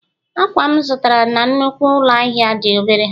akwa m zụtara na nnukwu ụlọ ahịa dị obere